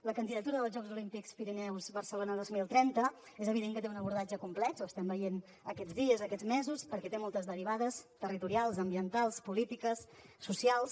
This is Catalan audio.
la candidatura dels jocs olímpics pirineus barcelona dos mil trenta és evident que té un abordatge complex ho estem veient aquests dies aquests mesos perquè té moltes derivades territorials ambientals polítiques socials